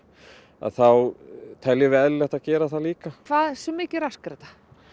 að þá teljum við eðlilegt að gera það líka hversu mikið rask er þetta